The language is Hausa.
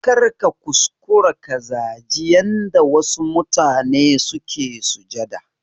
Karka kuskura ka zaji yanda wasu mutane suke sujada